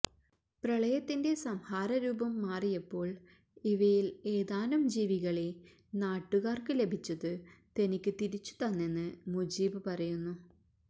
പ്രളയത്തിന്റെ സംഹാരരൂപം മാറിയപ്പോൾ ഇവയിൽ ഏതാനും ജീവികളെ നാട്ടുകാർക്ക് ലഭിച്ചത് തനിക്ക് തിരിച്ചു തന്നെന്ന് മുജീബ് പറയുന്നു